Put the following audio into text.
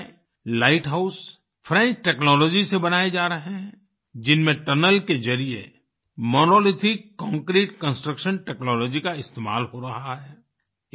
राजकोट में light house French technology से बनाए जा रहे हैं जिनमें टनल के जरिए मोनोलिथिक कांक्रीट कंस्ट्रक्शन टेक्नोलॉजी का इस्तेमाल हो रहा है